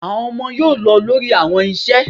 Awọn ọmọ yoo lọ lori awọn iṣẹ